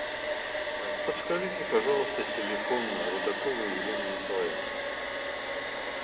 ээ подскажите пожалуйста телефон рудаковой елены николаевны